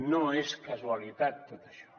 no és casualitat tot això